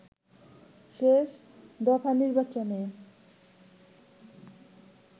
শেষ দফা নির্বাচনে